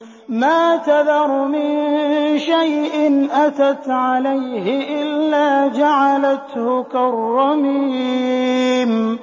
مَا تَذَرُ مِن شَيْءٍ أَتَتْ عَلَيْهِ إِلَّا جَعَلَتْهُ كَالرَّمِيمِ